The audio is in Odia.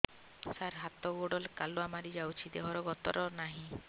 ସାର ହାତ ଗୋଡ଼ କାଲୁଆ ମାରି ଯାଉଛି ଦେହର ଗତର ନାହିଁ